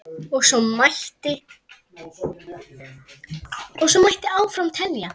Og svo mætti áfram telja.